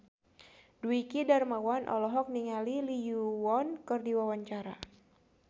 Dwiki Darmawan olohok ningali Lee Yo Won keur diwawancara